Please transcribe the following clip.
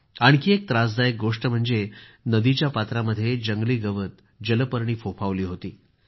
आणखी एक त्रासदायक गोष्ट म्हणजे नदीच्या पात्रामध्ये जंगली गवत जलपर्णी फोफावली होती